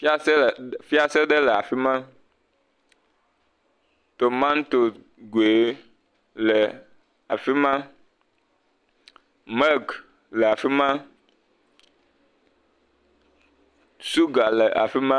Fiase le..fiase e afi ma, tomato goe le afi ma, milk le afi ma, suga le afi ma.